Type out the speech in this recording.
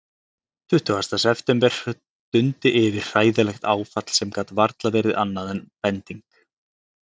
Tuttugasta september dundi yfir hræðilegt áfall sem gat varla verið annað en bending.